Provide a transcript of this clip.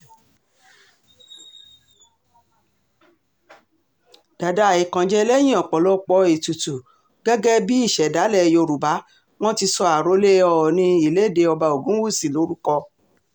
dàda àìkánjẹ lẹ́yìn ọ̀pọ̀lọpọ̀ ètùtù gẹ́gẹ́ bíi ìṣẹ̀dálẹ̀ yorùbá wọn ti sọ àròlé oòní ìlédè ọba ogunwúsì lórúkọ